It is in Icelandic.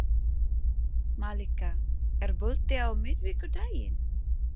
Malika, er bolti á miðvikudaginn?